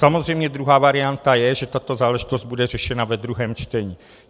Samozřejmě druhá varianta je, že tato záležitost bude řešena ve druhém čtení.